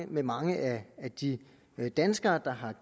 med mange af de danskere der har